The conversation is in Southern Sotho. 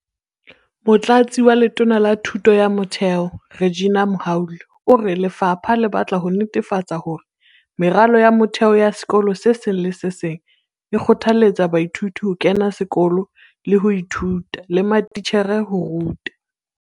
Motlatsi wa Letona la Thuto ya Motheo, Reginah Mhaule, o re lefapha le batla ho netefatsa hore meralo ya motheo ya sekolo se seng le se seng e kgothaletsa baithuti ho kena sekolo le ho ithuta, le matitjhere ho ruta.